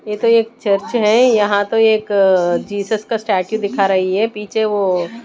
यह तो एक चर्च है यहां तो एक जीसस का स्टेचू दिखा रही है पीछे वो--